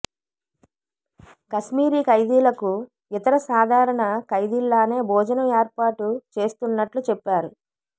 కశ్మీరీ ఖైదీలకు ఇతర సాధారణ ఖైదీల్లానే భోజనం ఏర్పాటు చేస్తున్నట్లు చెప్పారు